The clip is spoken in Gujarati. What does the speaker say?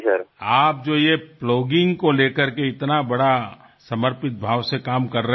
તમે આ જે પ્લોગિંગ અંગે આટલા સમર્પણભાવથી કામ કરી રહ્યા છો